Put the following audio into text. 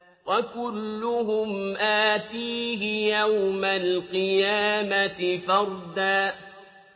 وَكُلُّهُمْ آتِيهِ يَوْمَ الْقِيَامَةِ فَرْدًا